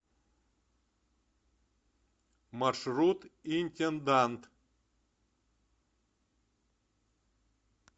маршрут интендант